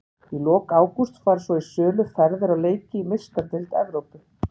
Í lok ágúst fara svo í sölu ferðir á leiki í Meistaradeild Evrópu.